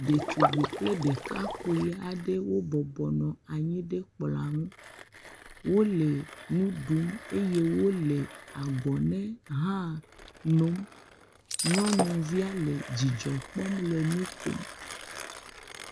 Ɖetugbui kple ɖekakpui aɖewo bɔbɔnɔ anyi ɖe kplɔa ŋu. Wole nudum eye wòle agɔne ha num, nyɔnuvia le dzidzɔ kpɔ le nu kom.